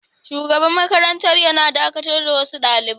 Shugaban makarantar yana dakatar da wasu dalibai.